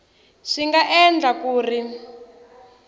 swi nga endleka ku ri